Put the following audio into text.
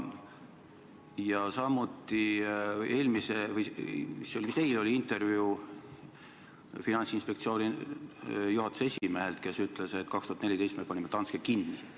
Ja vist eile oli intervjuu Finantsinspektsiooni juhatuse esimehega, kes ütles, et 2014 me panime Danske kinni.